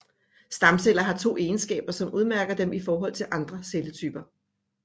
Stamceller har to egenskaber som udmærker dem i forhold til andre celletyper